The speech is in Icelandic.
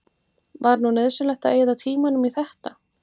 Var nú nauðsynlegt að eyða tímanum í þetta!